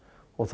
og